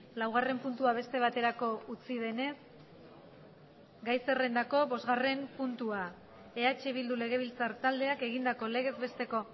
laugarren puntua beste baterako utzi denez gai zerrendako bosgarren puntua eh bildu legebiltzar taldeak egindako legez besteko